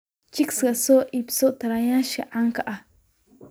Chicks ka soo iibso taranayaasha caanka ah.